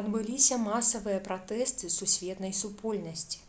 адбыліся масавыя пратэсты сусветнай супольнасці